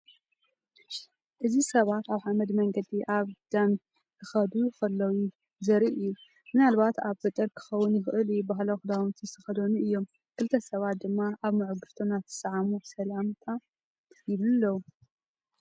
እዚ ሰባት ኣብ ሓመድ መንገዲ ኣብ ግዳም ኪኸዱ ከለዉ ዘርኢ እዩ ፣ ምናልባት ኣብ ገጠር ኪኸውን ይኽእል እዩ ። ባህላዊ ኽዳውንቲ ዝተኸድኑ እዮም። ክልተ ሰባት ድማ ኣብ ምዕጕርቶም እናተሳዓዓሙ ሰላም ይብሉ ኣለዉ።